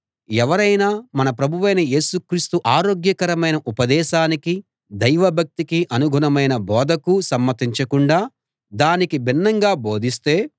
ఎవరైనా మన ప్రభువైన యేసు క్రీస్తు ఆరోగ్యకరమైన ఉపదేశానికీ దైవభక్తికి అనుగుణమైన బోధకూ సమ్మతించకుండా దానికి భిన్నంగా బోధిస్తే